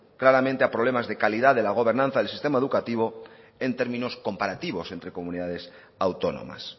claramente a problemas de calidad de la gobernanza del sistema educativo en términos comparativos entre comunidades autónomas